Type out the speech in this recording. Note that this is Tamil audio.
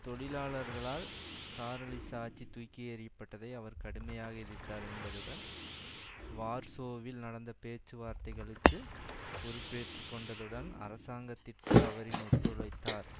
தொழிலாளர்களால் ஸ்டாலினிச ஆட்சி தூக்கி எறிய பட்டதை அவர் கடுமையாக எதிர்த்தார் என்பதுடன் வார்சோவில் நடந்த பேச்சுவார்த்தைகளுக்கு பொறுப்பேற்று கொண்டதுடன் அரசாங்கத்திற்கு அவரின் ஒத்துழைத்தார்